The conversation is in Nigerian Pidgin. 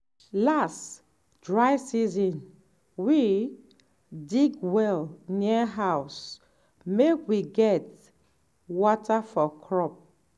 last dry season we dig well near house make we get water for crop.